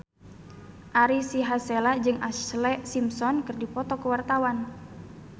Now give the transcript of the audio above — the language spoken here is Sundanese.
Ari Sihasale jeung Ashlee Simpson keur dipoto ku wartawan